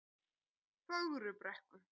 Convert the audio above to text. Fögrubrekku